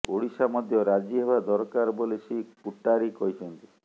ଓଡ଼ିଶା ମଧ୍ୟ ରାଜି ହେବା ଦରକାର ବୋଲି ଶ୍ରୀ କୁଟାରୀ କହିଛନ୍ତି